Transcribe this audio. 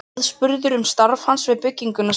Aðspurður um starf hans við bygginguna, segir